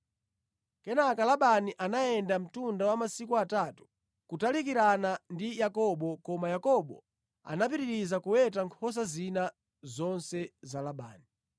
Kenaka Labani anayenda mtunda wa masiku atatu kutalikirana ndi Yakobo koma Yakobo anapitiriza kuweta nkhosa zina zonse za Labani.